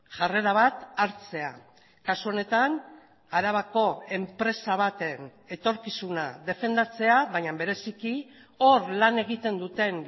jarrera bat hartzea kasu honetan arabako enpresa baten etorkizuna defendatzea baina bereziki hor lan egiten duten